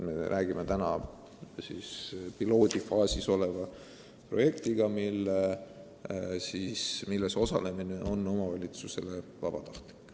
Me räägime pilootprojektist, milles osalemine on omavalitsustele vabatahtlik.